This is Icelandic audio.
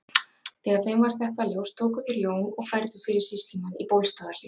Þegar þeim varð þetta ljóst tóku þeir Jón og færðu fyrir sýslumann í Bólstaðarhlíð.